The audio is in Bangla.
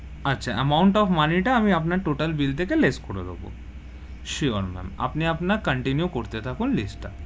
আচ্ছা, amount of money টা আমি আপনার total bill থেকে less করে দেব, sure ma'am আপনি আপনার continue করতে থাকুন list তা,